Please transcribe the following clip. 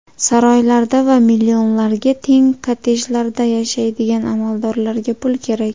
Saroylarda va millionlarga teng kottejlarda yashaydigan amaldorlarga pul kerak.